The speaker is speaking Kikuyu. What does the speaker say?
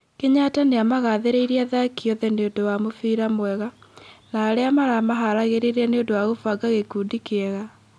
Kenyatta niamagathĩrĩirie athaki oothe nĩũndũ wa mũbĩra mwega, na aria maramaharagĩrĩria nĩũndũ wa kũbanga gikundi kĩu wega